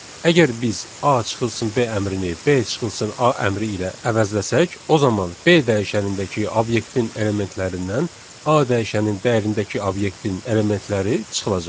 Əgər biz A çıxılsın B əmrini B çıxılsın A əmri ilə əvəzləsək, o zaman B dəyişənindəki obyektin elementlərindən A dəyişənin dəyərindəki obyektin elementləri çıxılacaq.